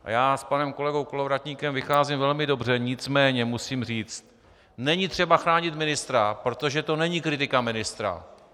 A já s panem kolegou Kolovratníkem vycházím velmi dobře, nicméně musím říct, není třeba chránit ministra, protože to není kritika ministra.